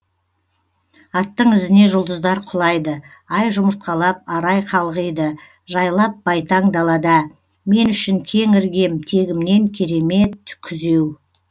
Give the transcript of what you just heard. аттың ізіне жұлдыздар құлайды ай жұмыртқалап арай қалғиды жайлап байтаң далада мен үшін кең іргем тегімнен кере е мет күзеу